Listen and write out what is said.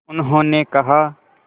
उन्होंने कहा